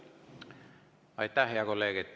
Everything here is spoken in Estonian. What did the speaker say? Aitäh, hea kolleeg!